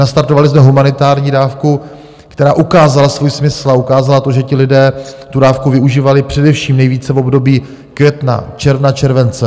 Nastartovali jsme humanitární dávku, která ukázala svůj smysl a ukázala to, že ti lidé tu dávku využívali především nejvíce v období května, června, července.